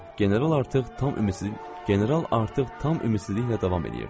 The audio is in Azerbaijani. General artıq tam ümidsizliklə general artıq tam ümidsizliklə davam eləyirdi.